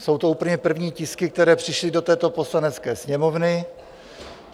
Jsou to úplně první tisky, které přišly do této Poslanecké sněmovny.